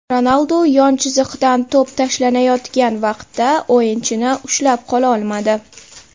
Ronaldu yon chiziqdan to‘p tashlanayotgan vaqtda o‘yinchini ushlab qololmadi.